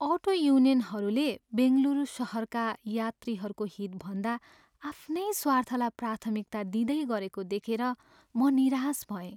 Auto युनियनहरूले बेङ्गलुरू सहरका यात्रीहरूको हितभन्दा आफ्नै स्वार्थलाई प्राथमिकता दिँदै गरेको देखेर म निराश भएँ।